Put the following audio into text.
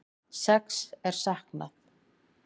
Sex er saknað